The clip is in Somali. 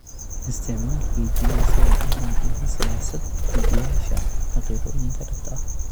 Isticmaal fiidiyow si aad u muujiso siyaasad-dejiyeyaasha xaqiiqooyinka dhabta ah